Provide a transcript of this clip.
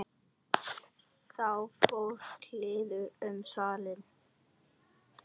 Þá fór kliður um salinn.